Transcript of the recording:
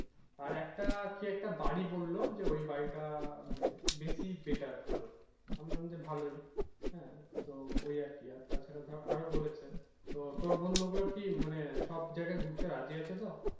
আর একটা কি একটা বাড়ী বললো যে ঐই বাড়ী টা মানে বেশি better ভালো আমি বললাম যে ভালো ই হ্যাঁ তো ওই আর কি আর তারা ছাড়া ধর আরও বলেছে তো তোর বন্ধু গুলো কি মানে সব জায়গা তে ঘুরতে রাজি আছে তো